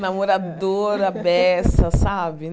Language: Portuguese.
Namorador, à beça, sabe?